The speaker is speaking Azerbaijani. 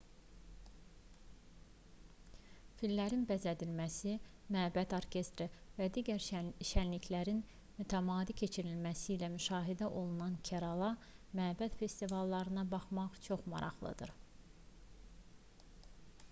fillərin bəzədilməsi məbəd orkestri və digər şənliklərin mütəmadi keçirilməsi ilə müşahidə olunan kerala məbəd festivallarına baxmaq çox maraqlıdır